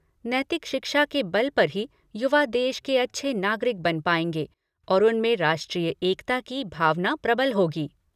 नैतिक शिक्षा के बल पर ही युवा देश के अच्छे नागरिक बन पाएगें और उनमें राष्ट्रीय एकता की भावना प्रबल होगी।